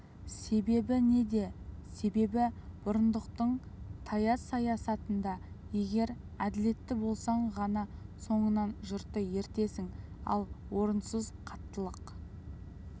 себебі неде себебі бұрындықтың тайыз саясатында егер әділетті болсаң ғана соңыңнан жұртты ертесің ал орынсыз қаттылық